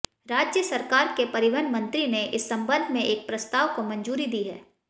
राज्य सरकार के परिवहन मंत्री ने इस संबंध में एक प्रस्ताव को मंजूरी दी है